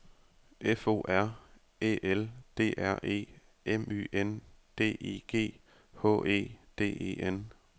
F O R Æ L D R E M Y N D I G H E D E N